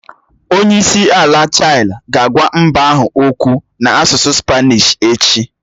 Onye isi ala Chile ga-agwa mba ahụ okwu n'asụsụ Spanishi echi.